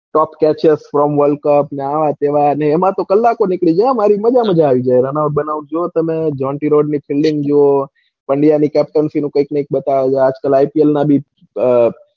top, catches, for, world cup આવા ન તેવા ને એમાં તો કલાકો નીકળી જાય હો હારી runout બધું જોવો તમે jontyrhodes ની filding જોવો india ની captioncy નું કૈક ને કૈક બતાવે છે આજકાલ ipl નું બી,